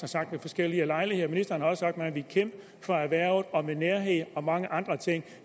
sagt ved forskellige lejligheder ministeren har også sagt at man ville kæmpe for erhvervet og skabe nærhed og mange andre ting